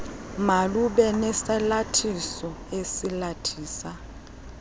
malube nesalathiso esalathisa